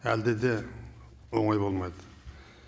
әлде де оңай болмайды